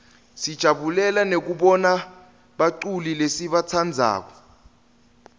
sijabulela nekubona baculi lesibatsandzako